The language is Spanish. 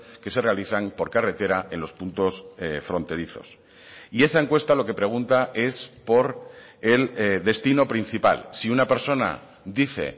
que se realizan por carretera en los puntos fronterizos y esa encuesta lo que pregunta es por el destino principal si una persona dice